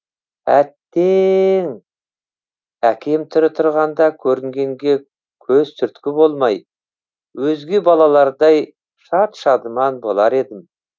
әт те ең әкем тірі тұрғанда көрінгенге көз түрткі болмай өзге балалардай шат шадыман болар едім